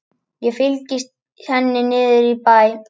Ég fylgi henni niður í bæ.